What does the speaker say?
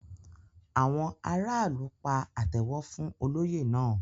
Àwọn aráàlú pa àtẹ́wọ́ fún olóyè náà.